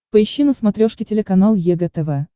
поищи на смотрешке телеканал егэ тв